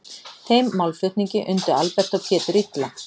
Þeim málflutningi undu Albert og Pétur illa.